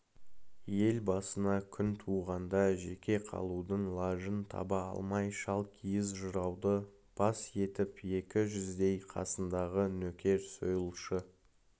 ел басына күн туғанда жеке қалудың лажын таба алмай шалкиіз жырауды бас етіп екі жүздей қасындағы нөкер сойылшы